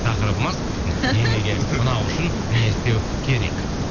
тақырыбымыз енеге ұнау үшін не істеу керек